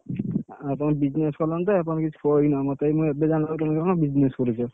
ଆ ତମେ business କଲାଣି ତ ଏବେ ଜାଣିଲା ବେଳକୁ କଣ business କରୁଛ।